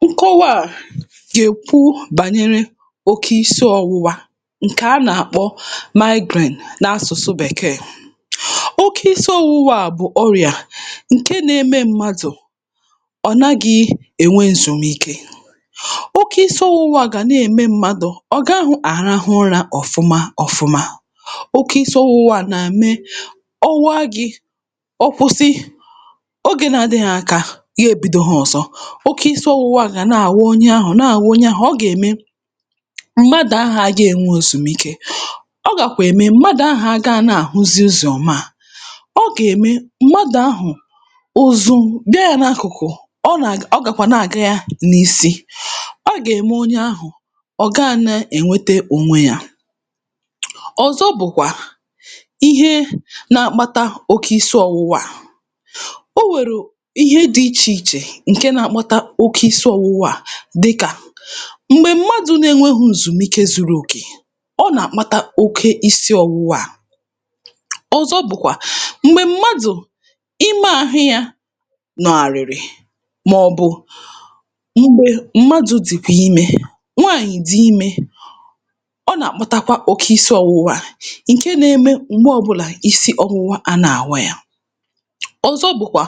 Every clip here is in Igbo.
breath ṅkọwa a gà-èkwu bànyere oke isiọ̄wụ̄wā ṅ̀kè a nà-àkpọ migraine n’asụ̀sụ bèkeè oke isiọ̄wụ̄wā bụ̀ ọrịà ṅ̀ke nā-ēmē mmadụ̀ ọ nagị̄ ènwe èzùmike oke isi ọ̄wụ̄wā gà na-ème mmadụ̀ ọ gahụ̄ àrahụ ụrā ọ̀fụmạ ọ̄fụ̄mā oke isi ọ̄wụ̄wā nà-me ọ waa gị̄ ọ kwụsị ogē na-adịhị ̄ aka yo bīdōhā ọ̀zọ oke isi ọ̄wụ̄wā gà na-àwa onye àhụ na-àwa onye ahụ̀ ọ gà-ème m̀madụ̀ ahà agā ènwe òsùmike ọ gàkwà ème m̀madụ̀ ahụ̀ agāā na-àhụzi ụzọ̀ ọma breath ọ gà-ème m̀madụ̀ ahụ̀ ụ̀zụ̀ bịa yā n’akụ̀kụ̀ ọ nà-àg ọ gàkwà na-àga yā n’isi breath ọ gà-ème onye ahụ̀ ọ̀ gaā na-ènweta ònwe yā ọ̀zọ bụ̀kwà ihe nā-ākpātā oke isi ọ̄wụ̄wā o nwèrù ihe dị̄ ichè ichè ṅ̀ke nā-ākpātā oke isi ọ̄wụ̄wā à oke isi ọ̄wụ̄wā à dịkà m̀gbè m̀madụ̄ na-enwēhū ǹzùmike zuru òkè ọ nà-àkpata oke isi ọ̄wụ̄wā à ọzọ bụ̀kwà m̀gbè m̀madụ̀ ime ahụ yā nọ̀gharị̀rị̀ màọ̀bụ̀ m̀gbè m̀madụ̄ dị̀kwà imē nwaànyị̀ dị imē ọ nà-àkpụtakwa oke isi ọ̄wụ̄wā ṅ̀ke nā-ēmē m̀gbe ọbụlà isi ọ̄wụ̄wā àna-àwa yā ọzọ bụ̀kwà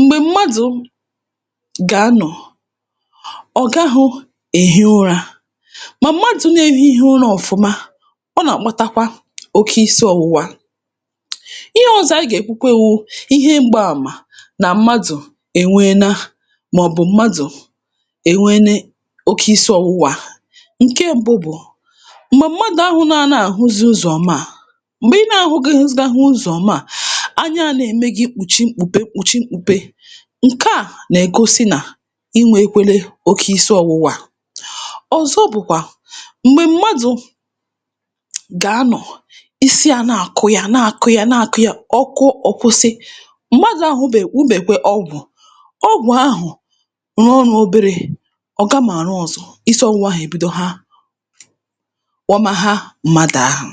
m̀gbè m̀madụ̄ gà-anọ̀ ọ̀ gahụ̄ èhi ụrā mà madụ̄ na-ēhīhī ụrā ọ̀fụma ọ na-àkpụtakwa oke isi ọ̄wụ̄wā ihe ọzọ̄ ayị gà-èkwukwe wụ ihe mgba àmà nà madụ̀ ènweena màọ̀bụ̀ m̀madụ̀ ènweene oke isi ọwụwa à ṅ̀ke m̄bụ̄ bụ m̀gbè mmadụ̀ ahụ na anā-àhụzi ụzọ̀ ọma m̀gbè ị nà-ahụgahizidahụ ụzọ̀ ọma à breath anya nā-ème gī kpùchim kpùto kpùchim kpùpe ṅ̀ke à nà—ègosi nà i nwekwēlē oke isi ọwụwa à ọ̀zọ bụ̀kwà m̀gbè m̀madụ̄ gà anọ̀ isi ānā àkụ yā na-àkụ yā na-àkụ yā ọ kụọ ọ̀ kwụsị madụ̀ ahụ̄bè nụ̇bèkwe ọgwụ̀ ọgwụ̀ ahụ̀ rụọ ọrụ̄ oberē ọ̀ gamà ạrụ ọzọ isi ọ̄wụ̄wā ahà èbidoha wamaha mmadụ̀ ahụ̀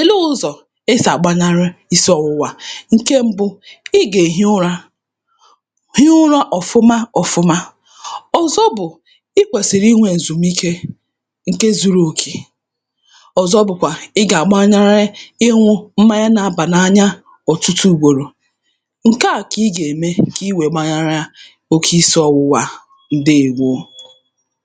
èleē ụzọ̀ e sì àgbanarị isi ọ̄wụ̄wā à ṅ̀ke mbụ̄ ị gà-èhi ụrā huu ụrā ọfụma ọfụ̄mā ọ̀zọ bụ̀ i kwèsìrì inwē èzùmike ṅ̀ke zūrū òkè ọ̀zọ bụ̀kwà ị gà-àgbanarị ịnụ̄ mmanya na-abà n’anya ọ̀tụtụ ùgbor̀ò ṅ̀ke à kà ị gà-ème kà i wee gbanara oke isi ọ̄wụ̄wā ǹdeèwo